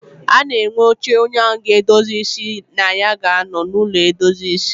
A na enwe oche onye a ga-edozi ịsị ga anọ na ya n'ụlọ edozi ịsị